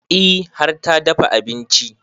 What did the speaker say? E har ta dafa abinci